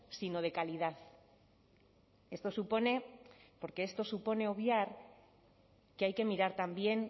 sino de calidad esto supone porque esto supone obviar que hay que mirar también